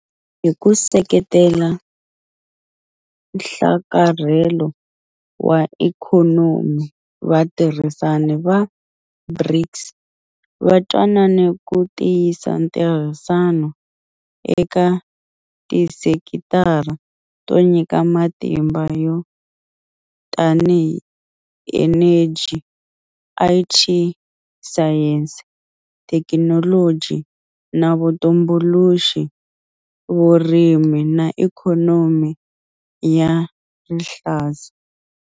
Hi ku seketela nhlakarhelo wa ikhonomi, vatirhisani va BRICS va twanane ku tiyisa ntirhisano eka tisekitara to nyika matimba to tanihi eneji, IT, sayense, thekinoloji na vutumbuluxi, vurimi na ikhonomi ya rihlaza.